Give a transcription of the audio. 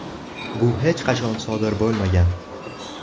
Bu hech qachon sodir bo‘lmagan.